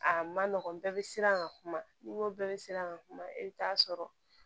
A ma nɔgɔn bɛɛ bɛ siran ka kuma n'i n ko bɛɛ bɛ siran ka kuma i bɛ taa sɔrɔ